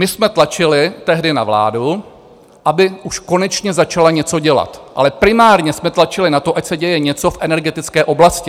My jsme tlačili tehdy na vládu, aby už konečně začala něco dělat, ale primárně jsme tlačili na to, ať se děje něco v energetické oblasti.